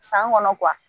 San kɔnɔ